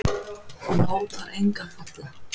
Lát þar enga falla.